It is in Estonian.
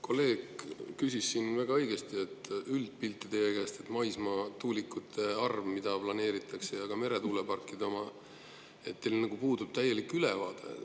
Kolleeg väga õigesti, et täielik üldpilt, ülevaade maismaatuulikute arvu kohta, mida planeeritakse, ja ka meretuuleparkide kohta, teil nagu puudub.